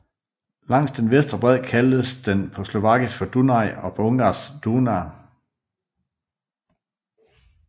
Langs den venstre bred kaldes den på slovakisk for Dunaj og på ungarsk Duna